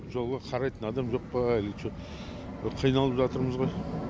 жолға қарайтын адам жоқ па қиналып жатырмыз ғой